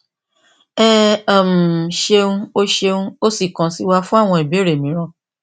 ẹ um ṣeun o ṣeun o sì kàn sí wa fún àwọn ìbéèrè mìíràn